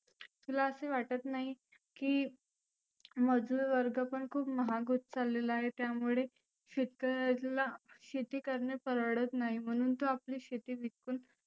तुला असं वाटत नाही की मजुर वर्ग पण खुप महाग होत चाललेला आहे त्यामुळे शेतकऱ्याला शेती करणं परवडत नाही. म्हणुन तो आपली शेती विकुन